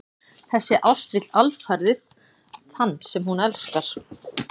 Þessi ást vill alfarið þann sem hún elskar.